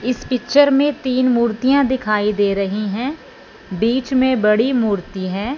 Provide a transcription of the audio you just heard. इस पिक्चर में तीन मूर्तियां दिखाई दे रही हैं बीच में बड़ी मूर्ति है।